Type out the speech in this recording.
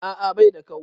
A'a baida kau